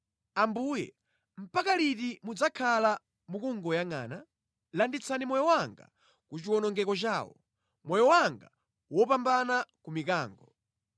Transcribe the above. Ambuye, mpaka liti mudzakhala mukungoyangʼana? Landitsani moyo wanga ku chiwonongeko chawo, moyo wanga wopambana ku mikango.